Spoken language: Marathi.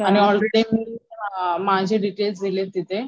आणि ऑलरेडी माझे डिटेल्स दिले तिथे.